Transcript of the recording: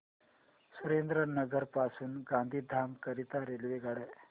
सुरेंद्रनगर पासून गांधीधाम करीता रेल्वेगाड्या